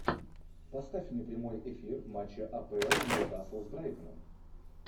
поставь мне прямой эфир матча апл ньюкасл с брайтоном